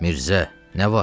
Mirzə, nə var?